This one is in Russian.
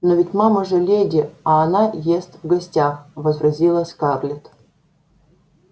но ведь мама же леди а она ест в гостях возразила скарлетт